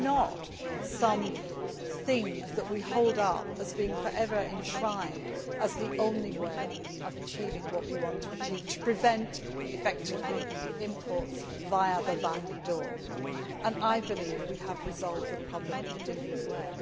It is not some thing that we hold up as being for ever enshrined as the only way of achieving what we want to achieve to prevent, effectively, imports via the back door and I believe we have resolved the problem in a different way.